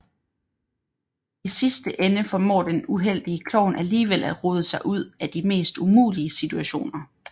I sidste ende formår den uheldige klovn alligevel at rode sig ud af de mest umulige situationer